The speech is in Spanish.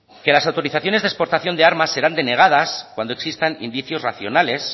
que las autorizaciones de exportaciones de armas serán denegadas cuando existan indicios racionales